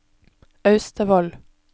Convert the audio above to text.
Austevoll